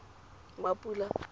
mapula